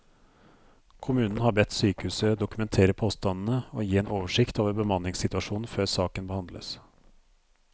Kommunen har bedt sykehuset dokumentere påstandene og gi en oversikt over bemanningssituasjonen før saken behandles.